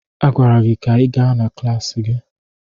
A gwara gị ka ị gaa na klaasị gị!